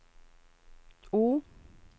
O